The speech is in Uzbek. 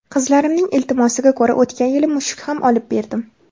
Qizlarimning iltimosiga ko‘ra o‘tgan yili mushuk ham olib berdim.